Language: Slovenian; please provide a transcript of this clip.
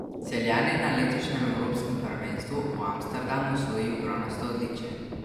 Celjan je na letošnjem evropskem prvenstvu v Amsterdamu osvojil bronasto odličje.